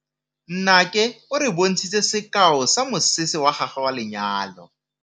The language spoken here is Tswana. Nnake o re bontshitse sekaô sa mosese wa gagwe wa lenyalo.